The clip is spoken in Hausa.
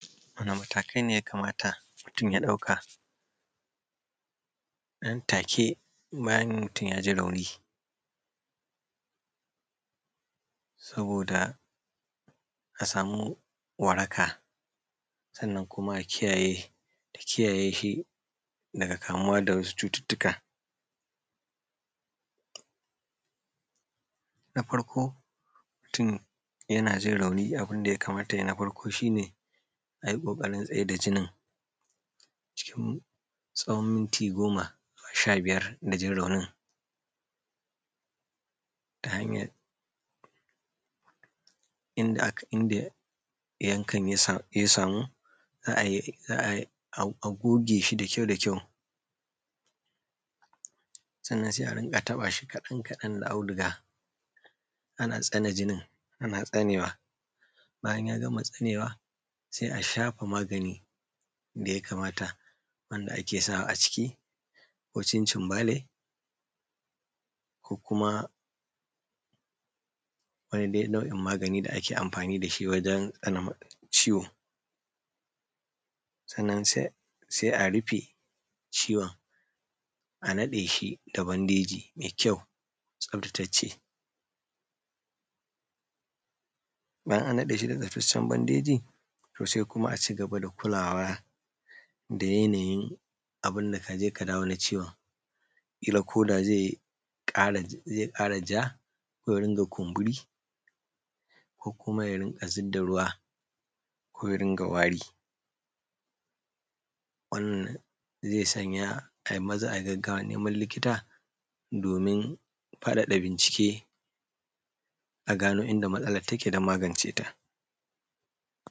Wani matakai ne ya kamata mutun ya ɗauka nan take bayan mutum ya ji rauni saboda a samu waraka sannan kuma da kiyaye shi daga kamuwa da waɗansu cututtuka, na farko abun da ya kamata mutun ya yi bayan ya ji rauni shi ne a tsaida jinin cikin tsawon minti goma sha biyar da jin raunin ta hanyan inda yankan ya samu za a goge shi da kyau, sannan sai a dinga taɓa shi kaɗan-kaɗan da auduga, ana tsane jinin bayan ya gama tsanewa sai a shafa maganin da ya kamata wanda ake sawa a ciki ko janjanbale ko kuma dai wani nau’in magani da ake amfani da shi wajen tsane ciwo. Sannan sai a rufe ciwon a naɗe shi da bandeji mai kyau tsaftatacce bayan an naɗe shi da tsaftataccen bandeji to, sai kuma a cigaba da kulawa da yanayin abun da ka je ka dawo na ciwon kila ko da zai ƙara ja ko ya riƙa kumburi ko kuma ya riƙa zub da ruwa ko ya rinƙa wari, wannan zai sanya ai maza ai gaggawan neman likita domin faɗaɗa bincike a gano inda matsalan take don magance ta.